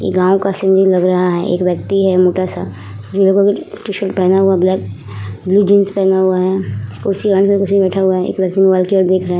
ये गांव का सीनरी लग रहा है। एक व्यक्ति है मोटा सा जो टी-शर्ट पहना हुआ ब्लैक ब्लू जींस पहना हुआ है। कुर्सी बैठ हुआ है। एक व्यक्ति मोबाईल की ओर देख रहा है।